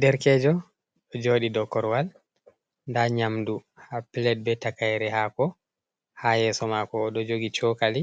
Derkejo ɗo joɗi dow korwal, nda nyamdu ha plat be takaire hako ha yeso mako, o ɗo jogi cokali